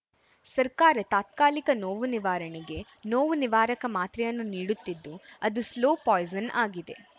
ಸರ್ಕಾರ ತಾತ್ಕಾಲಿಕ ನೋವು ನಿವಾರಣೆಗೆ ನೋವು ನಿವಾರಕ ಮಾತ್ರೆಯನ್ನು ನೀಡುತ್ತಿದ್ದು ಅದು ಸ್ಲೋ ಪಾಯಿಸನ್‌ ಆಗಿದೆ